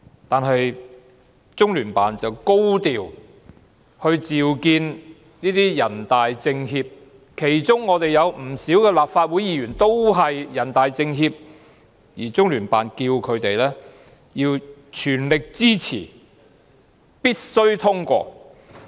但是，中聯辦卻高調召見若干港區全國人大代表及政協委員，其中有不少都是立法會議員，而中聯辦要他們全力支持《條例草案》，必須通過《條例草案》。